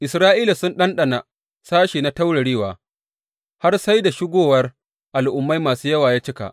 Isra’ila sun ɗanɗana sashe na taurarewa har sai da shigowar Al’ummai masu yawa ya cika.